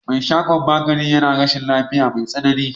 Me shagon magani yana rashin lafiya mai tsanani.